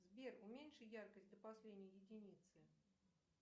сбер уменьши яркость до последней единицы